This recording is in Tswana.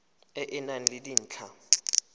e e nang le dintlha